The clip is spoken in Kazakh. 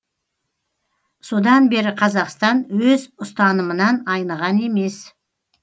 содан бері қазақстан өз ұстанымынан айныған емес